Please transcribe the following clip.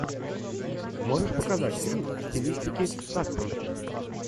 можешь показать фильм в стилистике саспенса